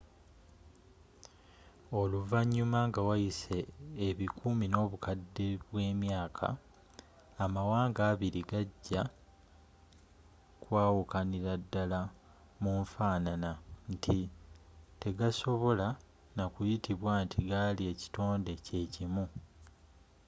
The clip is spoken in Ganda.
oluvannyuma nga wayise ebikumi n'obukadde bw'emyaaka amawaanga abiri gajja kwawukanira ddala mu nfaanana nti tegasobola nakuyitibwa nti gali ekitonde kyekimu